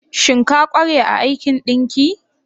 Shin ka kware a aikin ɗinki?